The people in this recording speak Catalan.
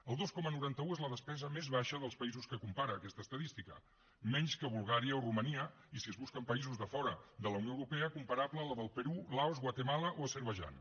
el dos coma noranta un és la despesa més baixa dels països que compara aquesta estadística menys que bulgària o romania i si es busquen països de fora de la unió europea comparable a la del perú laos guatemala o l’azerbaidjan